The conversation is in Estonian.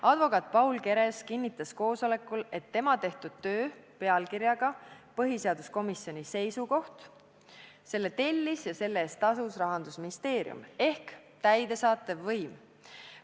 Advokaat Paul Keres kinnitas koosolekul, et tema tehtud töö pealkirjaga "Põhiseaduskomisjoni seisukoht" tellis ja selle eest tasus Rahandusministeerium ehk täidesaatev võim.